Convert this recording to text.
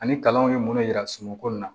Ani kalanw ye minnu yira sunɔgɔ in na